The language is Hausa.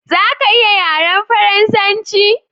Zaka iya yaran farasance.